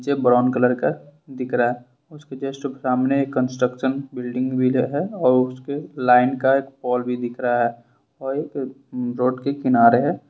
यह brown colour का दिख रहा उसके सामने कंस्ट्रक्शन बिल्डिंग है और उसके लाइन का पोल भी दिख रहा और ये एक रोड के किनारे है।